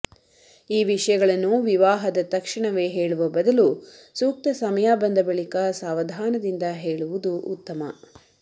ಈ ವಿಷಯಗಳನ್ನು ವಿವಾಹದ ತಕ್ಷಣವೇ ಹೇಳುವ ಬದಲು ಸೂಕ್ತ ಸಮಯ ಬಂದ ಬಳಿಕ ಸಾವಧಾನದಿಂದ ಹೇಳುವುದು ಉತ್ತಮ